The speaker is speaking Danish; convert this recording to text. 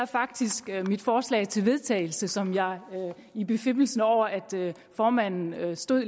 faktisk i mit forslag til vedtagelse som jeg i befippelse over at formanden længe stod